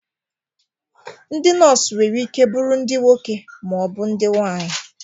Ndị nọs nwere ike bụrụ ndị nwoke ma ọ bụ ndị nwaanyị.